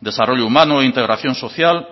desarrollo humano integración social